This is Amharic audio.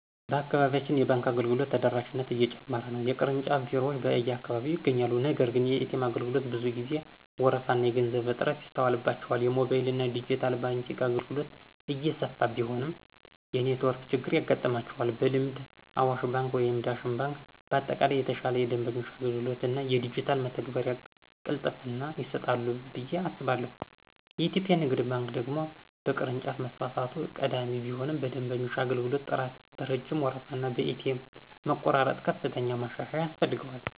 በአካባቢያችን የባንክ አገልግሎቶች ተደራሽነት እየጨመረ ነው። የቅርንጫፍ ቢሮዎች በየአካባቢው ይገኛሉ፤ ነገር ግን የኤ.ቲ.ኤም አገልግሎቶች ብዙ ጊዜ ወረፋና የገንዘብ እጥረት ይስተዋልባቸዋል። የሞባይልና ዲጂታል ባንኪንግ አገልግሎቶች እየሰፉ ቢሆንም የኔትወርክ ችግር ያጋጥማቸዋል። በልምድ አዋሽ ባንክ ወይም ዳሽን ባንክ በአጠቃላይ የተሻለ የደንበኞች አገልግሎት እና የዲጂታል መተግበሪያ ቅልጥፍና ይሰጣሉ ብዬ አስባለሁ። የኢትዮጵያ ንግድ ባንክ ደግሞ በቅርንጫፍ መስፋፋት ቀዳሚ ቢሆንም በደንበኞች አገልግሎት ጥራት፣ በረጅም ወረፋና በኤ.ቲ.ኤም መቆራረጥ ከፍተኛ ማሻሻያ ያስፈልገዋል።